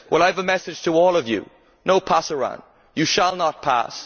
I have a message to all of you No pasaran you shall not pass.